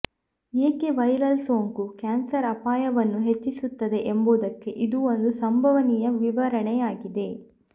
ಏಕೆ ವೈರಲ್ ಸೋಂಕು ಕ್ಯಾನ್ಸರ್ ಅಪಾಯವನ್ನು ಹೆಚ್ಚಿಸುತ್ತದೆ ಎಂಬುದಕ್ಕೆ ಇದು ಒಂದು ಸಂಭವನೀಯ ವಿವರಣೆಯಾಗಿದೆ